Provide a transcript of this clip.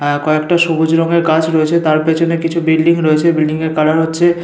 আহ কয়েকটা সবুজ রঙের গাছ রয়েছে। তার পেছনে কিছু বিল্ডিং রয়েছে। বিল্ডিং এর কালার হচ্ছে--